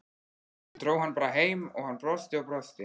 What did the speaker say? Ég dró hann bara heim og hann brosti og brosti.